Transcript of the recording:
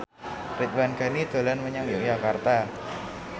Ridwan Ghani dolan menyang Yogyakarta